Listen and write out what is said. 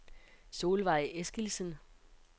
Solvejg Eskildsen